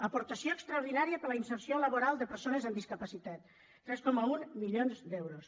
aportació extraordinària per a la inserció laboral de persones amb discapacitat tres coma un milions d’euros